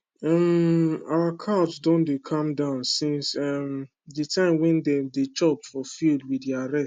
um our cow don dey calm down since um the time wey dem dey chop for field with their rest